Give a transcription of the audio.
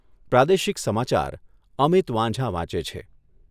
પ્રાદેશિક સમાચાર અમિત વાંઝા વાંચે છે.